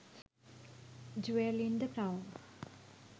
juwel in the crown